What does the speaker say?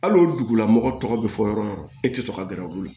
Hali o dugulamɔgɔ tɔgɔ bɛ fɔ yɔrɔ yɔrɔ e tɛ sɔn ka gɛrɛ u la